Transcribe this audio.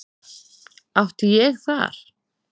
Átti ég þar